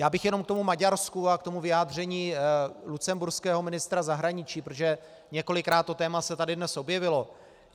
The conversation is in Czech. Já bych jenom k tomu Maďarsku a k tomu vyjádření lucemburského ministra zahraničí, protože několikrát se to téma tady dnes objevilo.